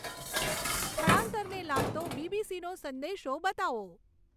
સ્થળાંતરને લાગતો બીબીસીનો સંદેશો બતાવો